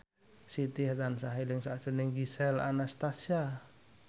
Siti tansah eling sakjroning Gisel Anastasia